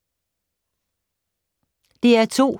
DR2